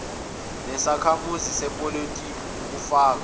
sakhamuzi sepolitiki okufaka